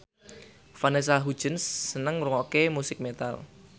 Vanessa Hudgens seneng ngrungokne musik metal